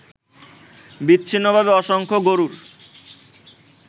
বিচ্ছিন্নভাবে অসংখ্য গরুর